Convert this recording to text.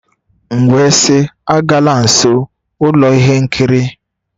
M wee sị, agala nso ụlọ ihe nkiri!.